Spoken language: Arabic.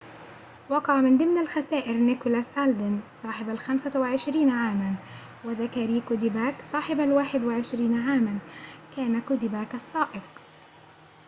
وقع من ضمن الخسائر نيكولاس ألدين صاحب الخمسة وعشرين عاماً وذاكاري كوديباك صاحب الواحد وعشرين عاماً كان كوديباك السائق